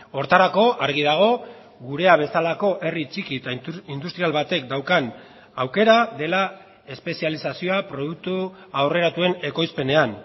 horretarako argi dago gurea bezalako herri txiki eta industrial batek daukan aukera dela espezializazioa produktu aurreratuen ekoizpenean